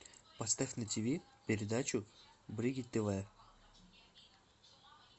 поставь на тв передачу бридж тв